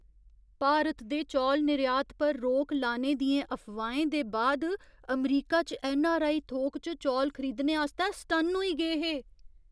भारत दे चौल निर्यात पर रोक लाने दियें अफवाहें दे बाद अमरीका च ऐन्नआरआई थोक च चौल खरीदने आस्तै सटन्न होई गे हे।